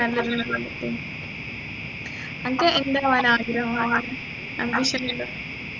നല്ലതിനല്ലേ വെച്ച് അൻക്ക് എന്താവാനാ ആഗ്രഹം ambition നെല്ലും